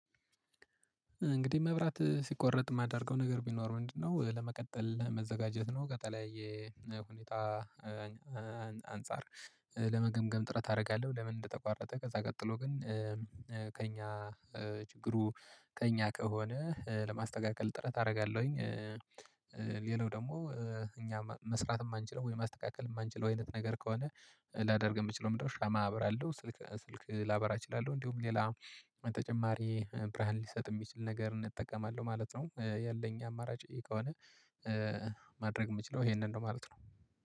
እንግዲህ መብራት ሲቆረጥ የማደርገው ነገር ቢኖር ምንድነው? ለመቀጠል መዘጋጀት ነው ከተለያየ ቦታ አንፃር ለመገምገም ጥረት አደርጋለሁ። ለምን እንደተቋረጠ ከዛ ቀጥሎ ግን ከእኛ ችግሩ ከእኛ ከሆነ ለማስተካከል ጥረት አደርጋለሁኝ። ሌላው ደግሞ እኛ መስራት የማንችለው ወይ ማስተካከል የማንችለው አይነት ነገር ከሆነ ላደርግ የምችለው ምንድን ነው? ሻማ አበራለሁ ስልክ ላበራ እችላለሁ እንዲሁም ሌላ ተጨማሪ ብርሃን ሊሰጥ የሚችል ነገር እጠቀማለሁ ማለት ነው። ያለኝ አማራጭ ከሆነ ማድረግ የምችለው ይሄንን ነው ማለት ነው